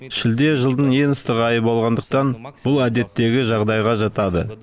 шілде жылдың ең ыстық айы болғандықтан бұл әдеттегі жағдайға жатады